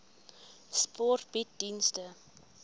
sport bied dienste